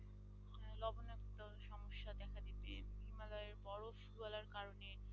বরফ গলার কারণে,